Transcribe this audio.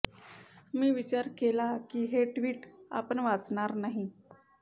मी विचार केला की हे ट्विट आपण वाचणार नाही